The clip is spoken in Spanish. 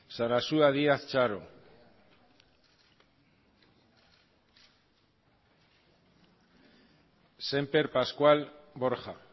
semper pascual francisco de borja